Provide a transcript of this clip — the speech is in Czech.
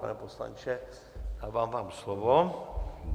Pane poslanče, dávám vám slovo.